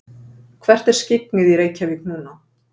hvert er skyggnið í reykjavík núna